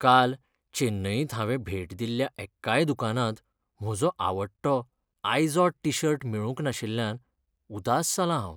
काल चेन्नईंत हांवें भेट दिल्ल्या एक्काय दुकानांत म्हजो आवडटो आयझोड टी शर्ट मेळूंक नाशिल्ल्यान उदास जालां हांव .